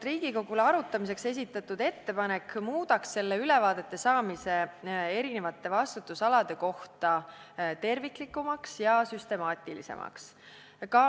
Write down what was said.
Meie esitatud ettepanek muudaks vastutusalade kohta ülevaadete saamise terviklikumaks ja süstemaatilisemaks.